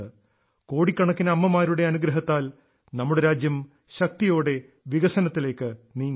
കോടിക്കണക്കിന് അമ്മമാരുടെ അനുഗ്രഹത്താൽ നമ്മുടെ രാജ്യം ശക്തിയോടെ വികസനത്തിലേക്ക് നീങ്ങുന്നു